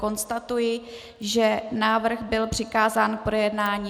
Konstatuji, že návrh byl přikázán k projednání.